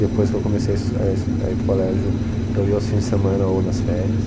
Depois que eu comecei a es, a s, a ir para o colégio, eu ia aos fins de semana ou nas férias.